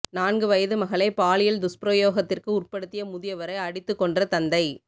நான்கு வயது மகளை பாலியல் துஸ்பிரயோகத்திற்கு உட்படுத்திய முதியவரை அடித்துக் கொன்ற தந்தை